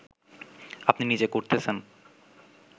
আপনি নিজে করতেছেন